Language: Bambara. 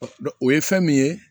Dɔn o ye fɛn min ye